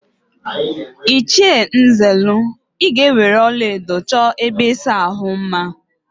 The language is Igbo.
Ịchie Nzelu, ị ga-eweere ọlaedo chọọ ebe ịsa ahụ mma!